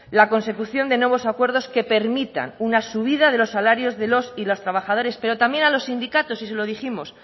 la consecución de nuevos acuerdos que permitan una subida de los salarios de los y las trabajadores pero también a los sindicatos y se lo dijimos